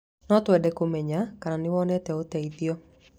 No twende kũmenya kana nĩwonete ũteithio.